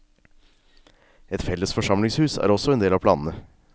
Et felles forsamlingshus er også en del av planene.